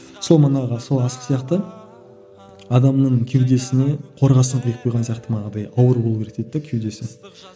сол манағы сол асық сияқты адамның кеудесіне қорғасын құйып қойған сияқты манағыдай ауыр болу керек дейді де кеудесі